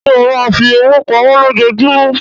Ṣé ó máa fi owó pamọ́ lójoojúmọ́?